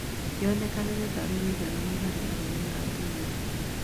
Yonekaga tarĩ ũigananu harĩ arũme na atumia